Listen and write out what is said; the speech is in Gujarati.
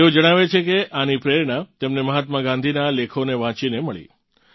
તેઓ જણાવે છે કે આની પ્રેરણા તેમને મહાત્મા ગાંધીનાં લેખોને વાંચીને મળી